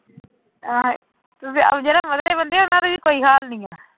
ਜਿਹੜੇ ਮਧਰੇ ਬੰਦੇ ਉਹਨਾਂ ਦੇ ਵੀ ਕੋਈ ਹਾਲ ਨੀ ਆਂ।